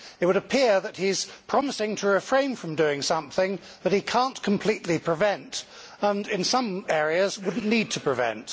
It would appear that he is promising to refrain from doing something that he cannot completely prevent and in some areas would not need to prevent.